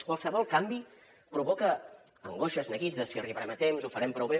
qualsevol canvi provoca angoixes neguits de si arribarem a temps ho farem prou bé